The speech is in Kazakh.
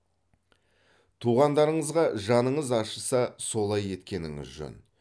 туғандарыңызға жаныңыз ашыса солай еткеніңіз жөн